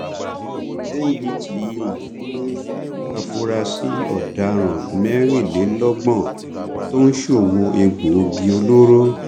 ndtea mú àfúrásì ọdaràn mẹrìnlélọgbọn tó ń ṣòwò egbòogi olóró